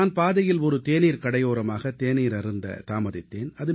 நான் சாலையோர தேநீர்க் கடையோரமாக தேநீர் அருந்துவதற்காக நின்றேன்